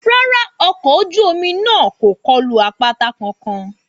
Rárá, ọkọ̀ orí-omi náà kò kulo àpáta kankan